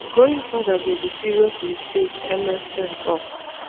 going further go be serious mistake ms stern tok.